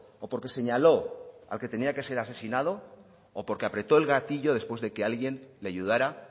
o porque señaló al que tenía que ser asesinado o porque apretó el gatillo después de que alguien le ayudara